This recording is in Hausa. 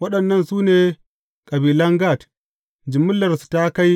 Waɗannan su ne kabilan Gad, jimillarsu ta kai